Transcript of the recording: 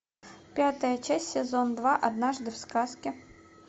пятая часть сезон два однажды в сказке